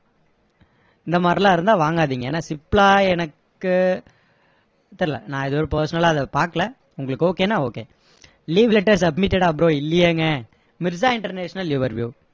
இந்த மாதிரியெல்லாம் இருந்தா வாங்காதீங்க ஏன்னா சிப்லா எனக்கு தெரியல நான் இது வரைக்கும் personal ஆ அதை பாக்கலை உங்களுக்கு okay னா okay leave letter submitted ஆ bro இல்லியேங்க மிர்ஸா இன்டர்நேஷனல் your view